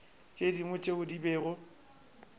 tše dingwe tšeo di bego